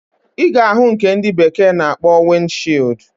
Iga ahu nke ndi bekee na akpo wind shield.